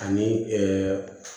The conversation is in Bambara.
Ani